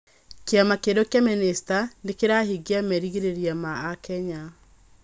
Kĩama kĩerũ kĩa mamĩnĩsta nĩ kĩrahingia merigĩrĩria ma akenya